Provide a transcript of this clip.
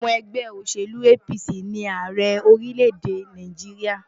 Ọmọ ẹgbẹ́ òṣèlú APC ni Ààrẹ orílẹ̀-èdè Nàìjíríà.